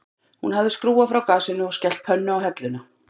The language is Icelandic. Hún hafði skrúfað frá gasinu og skellt pönnu á helluna